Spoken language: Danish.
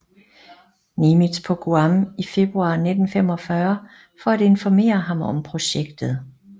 Nimitz på Guam i februar 1945 for at informere ham om projektet